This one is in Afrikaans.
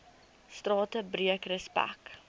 strate breek respek